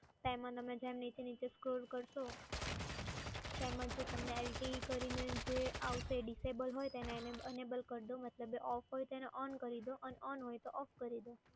તો એમાં તમે જેમ નીચે નીચે scroll કરશો તેમાજ તમને LTE કરીને જે આવશે એ disable હોય એને enable કરી દો, મતલબ off હોય તો on કરી દો અને on હોય તો off કરી દો.